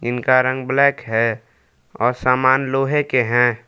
इनका रंग ब्लैक है और सामान लोहे के हैं।